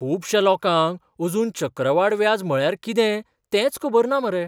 खुबश्या लोकांक अजून चक्रवाड व्याज म्हळ्यार कितें तेंच खबर ना मरे.